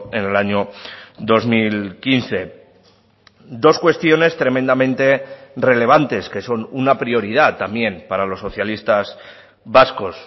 en el año dos mil quince dos cuestiones tremendamente relevantes que son una prioridad también para los socialistas vascos